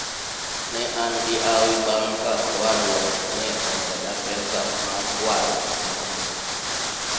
ne an gi hawi bang' ka owadwa ne omeda pesa mar waro gikmoko